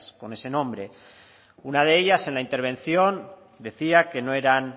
con ese nombre una de ellas en la intervención decía que no eran